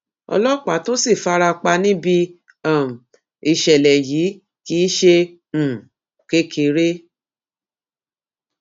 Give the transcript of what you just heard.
ọlọpàá tó sì fara pa níbi um ìṣẹlẹ yìí kì í ṣe um kékeré